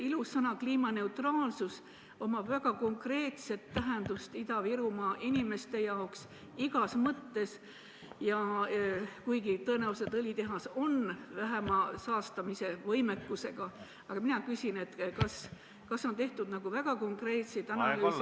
Ilus sõna "kliimaneutraalsus" omab Ida-Virumaa inimeste jaoks igas mõttes väga konkreetset tähendust ja õlitehas on tõenäoliselt vähem saastav, aga mina küsin selle kohta, kas on tehtud väga konkreetseid analüüse ...